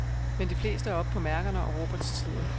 Men de fleste er oppe på mærkerne og råber til tiden.